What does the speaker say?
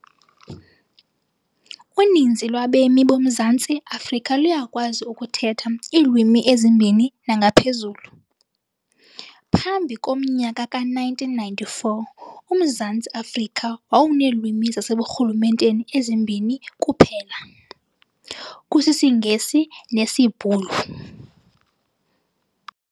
Uninzi lwabemi boMzantsi Afrika luyakwazi ukuthetha iilwimi ezimbini nangaphezulu. phambi komnyaka ka-1994, uMzantsi afrika wawuneelwimi zaseburhulumenteni ezimbini kuphela, kusisiNgesi nesiBhulu.